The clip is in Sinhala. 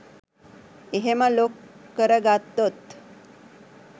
එහෙම ලොක් කරගත්තොත්